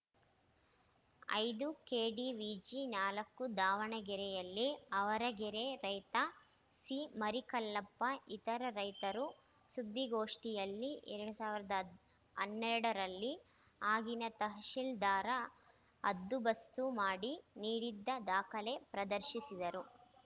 ಐದು ಕೆಡಿವಿಜಿ ನಾಲ್ಕು ದಾವಣಗೆರೆಯಲ್ಲಿ ಆವರಗೆರೆ ರೈತ ಸಿಮರಿಕಲ್ಲಪ್ಪ ಇತರೆ ರೈತರು ಸುದ್ದಿಗೋಷ್ಠಿಯಲ್ಲಿ ಎರಡ್ ಸಾವಿರದ ಹನ್ನೆರಡರಲ್ಲಿ ಆಗಿನ ತಹಸೀಲ್ದಾರ್‌ ಹದ್ದುಬಸ್ತು ಮಾಡಿ ನೀಡಿದ್ದ ದಾಖಲೆ ಪ್ರದರ್ಶಿಸಿದರು